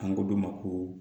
An ko dɔ ma ko